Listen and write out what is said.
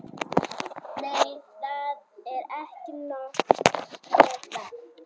Nei, það er ekki nóg með það.